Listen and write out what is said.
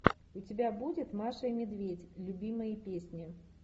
у тебя будет маша и медведь любимые песни